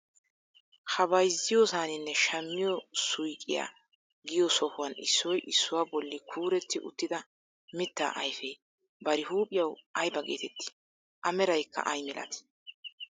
Ha bayzziyoosaninne shammiyoo suyqiyaa giyoo sohuwan issoy issuwaa bolli kuuretti uttida mittaa ayfee bari huuphiyawu ayba getettii? a meraykka ay milatii?